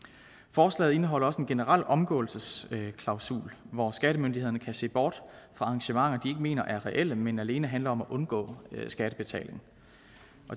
forslaget indeholder også en generel omgåelsesklausul hvor skattemyndighederne kan se bort fra arrangementer de ikke mener er reelle men alene handler om at undgå skattebetaling